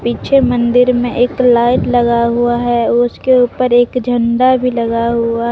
पीछे मंदिर में एक लाइट लगा हुआ है उसके ऊपर एक झंडा भी लगा हुआ।